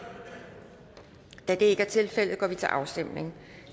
da det ikke er tilfældet går vi til afstemning